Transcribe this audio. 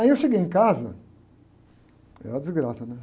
Aí eu cheguei em casa, era uma desgraça, né?